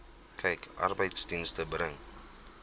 kyk arbeidsdienste bring